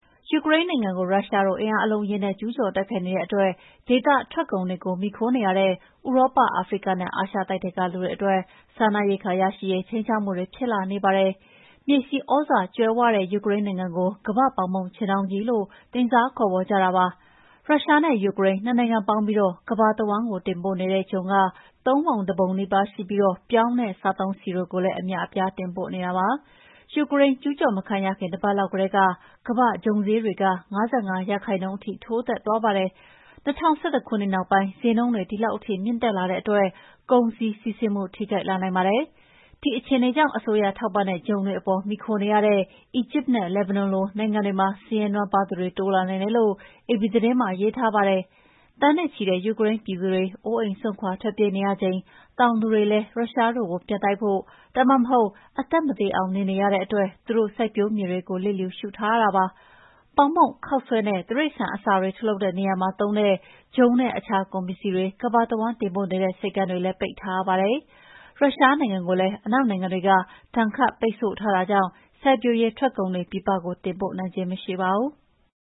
ယူကရိန်းနိုင်ငံကို ရုရှားတို့ အင်အားအလုံးအရင်းနဲ့ ကျူးကျော်တိုက်ခိုက်နေတဲ့အတွက် ဒေသထွက်ကုန်တွေကို မှီခိုနေရတဲ့ ဥရောပ၊ အာဖရိကနဲ့ အာရှတိုက်ထဲက လူတွေအတွက် စားနပ်ရိက္ခာရရှိရေး ခြိမ်းခြောက်မှုတွေ ဖြစ်လာနေပါတယ်။ မြေဆီသြဇာကြွယ်ဝတဲ့ ယူကရိန်းနိုင်ငံကို ကမ္ဘာ့ပေါင်မုန့်ခြင်းတောင်းကြီးလို့ တင်စားခေါ်ဝေါ်ကြပါတယ်။ ရုရှားနဲ့ ယူကရိန်း နှစ်နိုင်ငံပေါင်းပြီး ကမ္ဘာတဝန်း တင်ပို့နေတဲ့ ဂျုံက ၃ ပုံ ၁ ပုံနီးပါးရှိပြီး ပြောင်းနဲ့ စားသုံးဆီတွေလည်း အများအပြား တင်ပို့နေတာပါ။ ယူကရိန်း ကျူးကျော်မခံရခင် တပတ်လောက်ကတည်းက ကမ္ဘာ့ဂျုံဈေးတွေ ၅၅ ရာခိုင်နှုန်း ထိုးတက်သွားပါတယ်။ ၂၀၁၁ ခုနှစ်နောက်ပိုင်း ဈေးနှုန်းတွေ ဒီလောက်ထိ မြင့်တက်လာတဲ့အတွက် ကုန်စည်စီးဆင်းမှု ထိခိုက်လာနိုင်ပါတယ်။ ဒီခြေအနေကြောင့် အစိုးရထောက်ပံ့တဲ့ ဂျုံတွေအပေါ် မှီခိုနေရတဲ့ အီဂျစ်နဲ့ လက်ဘနွန်လို နိုင်ငံတွေမှာ ဆင်းရဲနွမ်းပါးသူတွေ တိုးလာနိုင်တယ်လို့ အေပီသတင်းမှာ ရေးထားပါတယ်။ သန်းနဲ့ချီတဲ့ ယူကရိန်းပြည်သူတွေ အိုးအိမ်စွန့်ခွါ ထွက်ပြေးနေရချိန် တောင်သူတွေလည်း ရုရှားတို့ကို ပြန်တိုက်ဖို့ ဒါမှမဟုတ် အသက်မသေအောင် နေနေကြရတဲ့အတွက် သူတို့စိုက်ပျိုးမြေတွေကို လျစ်လျူရှုထားရပါတယ်။ ပေါင်မုန့်၊ ခေါက်ဆွဲနဲ့ တိရစ္ဆာန်အစာတွေ ထုတ်လုပ်တဲ့နေရာမှာ သုံးတဲ့ ဂျုံနဲ့ အခြားကုန်စည်တွေ ကမ္ဘာတဝန်း တင်ပို့နေတဲ့ ဆိပ်ကမ်းတွေလည်း ပိတ်ထားရပါတယ်။ ရုရှားနိုင်ငံကိုလည်း အနောက်နိုင်ငံတွေက ဒဏ်ခတ်ပိတ်ဆို့ထားတာကြောင့် စိုက်ပျိုးရေးထွက်ကုန်တွေ ပြည်ပကို တင်ပို့နိုင်ခြင်း မရှိပါဘူး။